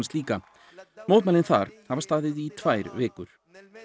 líka mótmælin þar hafa staðið í tvær vikur